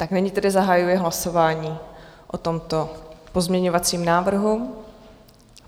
Tak nyní tedy zahajuji hlasování o tomto pozměňovacím návrhu.